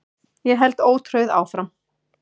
Ég held ótrauð áfram.